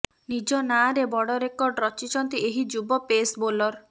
ନିଜ ନାଁରେ ବଡ ରେକର୍ଡ ରଚିଛନ୍ତି ଏହି ଯୁବ ପେସ ବୋଲର